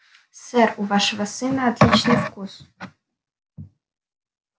сэр у вашего сына отличный вкус